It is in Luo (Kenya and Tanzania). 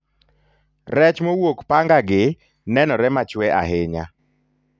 rech mowuok panga gi nenore machwe ahinya